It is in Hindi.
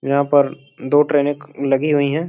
यहां पर दो ट्रेनें लगी हुई हैं।